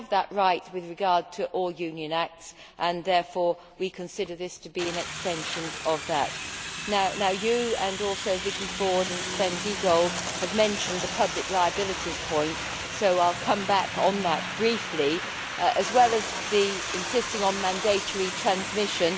They have that right with regard to all Union acts and, therefore, we consider this to be an extension of that. You, Commissioner, and also Vicky Ford and Sven Giegold, have mentioned the public liabilities point, so I will come back on that briefly, as well as insisting on mandatory transmission.